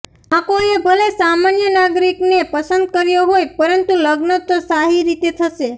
માકોએ ભલે સામાન્ય નાગરિકને પસંદ કર્યો હોય પરંતુ લગ્ન તો શાહી રીતે થશે